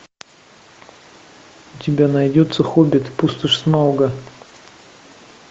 у тебя найдется хоббит пустошь смауга